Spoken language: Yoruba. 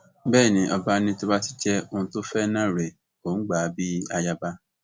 bẹẹ ni ọba ní tó bá ti jẹ òun tó fẹ náà rèé òun gbà á bíi ayaba